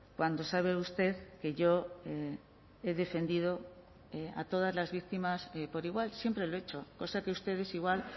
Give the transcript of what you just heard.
cuando sabe usted que yo he defendido a todas las víctimas por igual siempre lo he hecho cosa que ustedes igual